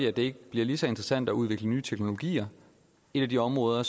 at det ikke bliver lige så interessant at udvikle nye teknologier et af de områder